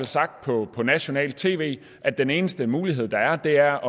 sagt på nationalt tv at den eneste mulighed der er er